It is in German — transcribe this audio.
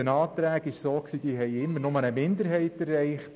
Den Anträgen stimmte hingegen nur eine Minderheit zu.